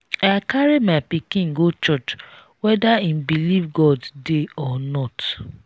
i carry my pikin go church whether im believe god dey or not.